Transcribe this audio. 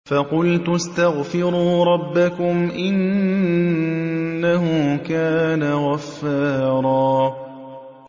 فَقُلْتُ اسْتَغْفِرُوا رَبَّكُمْ إِنَّهُ كَانَ غَفَّارًا